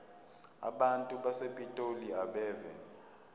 abantu basepitoli abeve